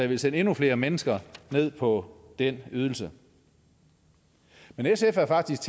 vil sende endnu flere mennesker ned på den ydelse men sf er faktisk